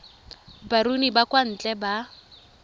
baruni ba kwa ntle ba